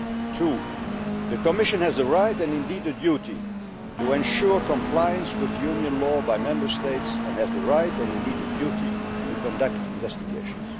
territory. Two, the Commission has the right, and indeed the duty, to ensure compliance with Union law by Member States and has the right, and indeed the duty, to conduct investigations.